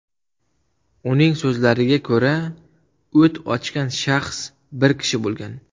Uning so‘zlariga ko‘ra, o‘t ochgan shaxs bir kishi bo‘lgan.